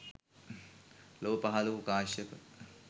ලොව පහළ වූ කාශ්‍යප